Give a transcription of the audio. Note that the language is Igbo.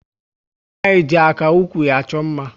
Umunwanyi ji aka ụkwụ achọ mma